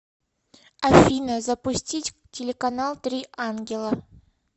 афина запустить телеканал три ангела